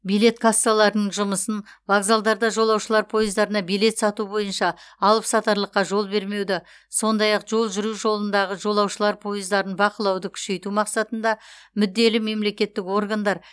билет кассаларының жұмысын вокзалдарда жолаушылар пойыздарына билет сату бойынша алыпсатарлыққа жол бермеуді сондай ақ жол жүру жолындағы жолаушылар пойыздарын бақылауды күшейту мақсатында мүдделі мемлекеттік органдар